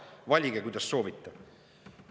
Valige, kuidas soovite.